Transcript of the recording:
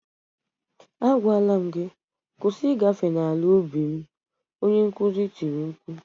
Agwala m gị "kwụsị ịgafe n'ala ubi m" onye nkuzi tiri mkpu